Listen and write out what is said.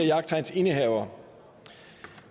jagttegnsindehavere